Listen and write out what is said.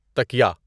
تکیہ